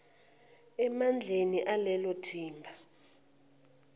emandleni alelo thimba